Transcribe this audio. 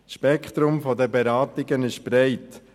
Das Spektrum der Beratungen ist breit.